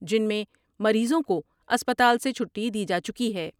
جن میں مریضوں کو اسپتال سے چھٹی دی جا چکی ہے ۔